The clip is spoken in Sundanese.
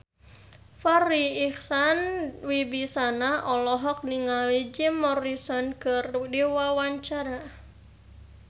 Farri Icksan Wibisana olohok ningali Jim Morrison keur diwawancara